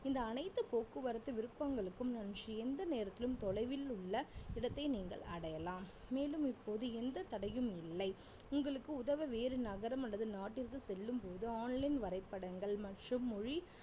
இந்த அனைத்து போக்குவரத்து விருப்பங்களுக்கும் நன்றி எந்த நேரத்திலும் தொலைவில் உள்ள இடத்தை நீங்கள் அடையலாம் மேலும் இப்போது எந்த தடையும் இல்லை உங்களுக்கு உதவ வேறு நகரம் அல்லது நாட்டிற்கு செல்லும்போது online வரைபடங்கள் மற்றும் மொழி